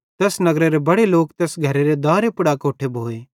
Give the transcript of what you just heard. तैस नगरेरे बड़े लोक तैस घरेरे दारे पुड़ अकोट्ठे भोए